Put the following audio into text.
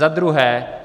Za druhé.